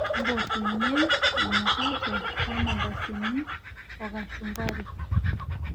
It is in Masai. mpotunyie emukate ormandasini o kashumbari